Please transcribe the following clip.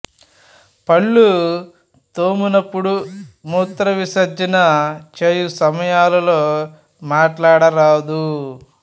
పళ్ళు తోమునప్పుడు మూత్ర విసర్జన చేయు సమయములలో మాటాడ రాదు